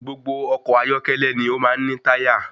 Gbogbo ọkọ̀ ayọ́kẹ́lẹ́ ni o máa ń ní táyà.